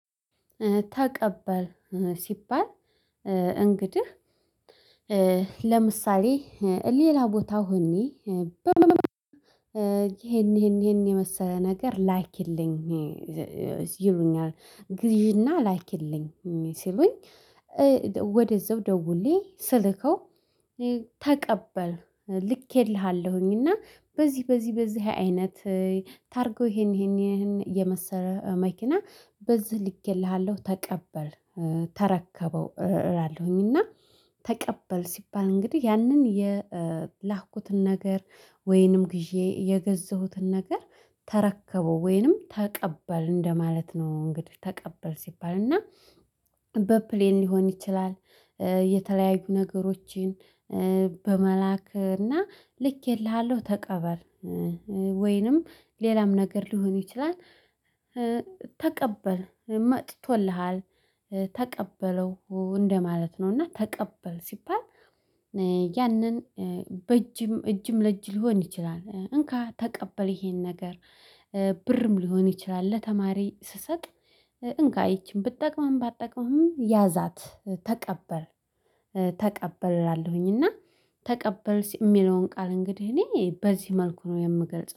ተቀበል እ ሲባል እ እንግድህ እ ለምሳሌ እ ሌላ ቦታ ሆኔ እ ይሄን፣ ይሄን፣ ይሄን የመሰለ ነገር ላኪልኝ ዘ ዘዘ ይሉኛል። ግዢና ላይክልኝ ሲሉኝ እ ወደዛው ደውሌ ስልከው እ ተቀበል ልኬልሃለሁኝ እና በዚ፣ በዚ፣ በዚህ አይነት ታርጎው ይሄን፣ ይሄን፣ ይሄን የመሰለ እ መኪና በዚህ ልኬልሃለሁ ተቀበል፣ እ ተረከበው እ እላለሁኝ። እና ተቀበል ሲባል እንግዲህ ያንን የ ኧ ላኩትን ነገር ወይንም ግዤ የገዛሁትን ነገር ተረከበው ወይንም ተቀበል እንደማለት ነው፤ እንግዲህ ተቀበል ሲባል። እና በፕሌን ሊሆን ይችላል፣ እ የተለያዩ ነገሮችን በመላክ እና ልኬልሃለሁ ተቀበል እ ወይንም ሌላም ነገር ሊሆን ይችላል እ ተቀበል መጥቶልሃል፣ ተቀበለው እንደማለት ነው። እና ተቀበል ሲባል ያንን እ በእጅም እጅም ለእጅ ሊሆን ይችላል፣ እንካ ተቀበል ይሄን ነገር ብርም ሊሆን ይችላል ለተማሪ ስሰጥ እ እንካ ይቺን ብጠቅምህም፣ ባጠቅምህም ያዛት ተቀበል እ ተቀበል እላለሁኝ። እና ተቀበል ስ እሚለውን ቃል እንግዲህ እኔ በዚህ መልኩ ነው የምገልጸው።